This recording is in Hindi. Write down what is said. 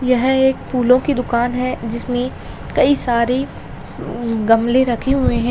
यह एक फूलों की दुकान है जिसमें कई सारी उम गमले रखे हुए हैं।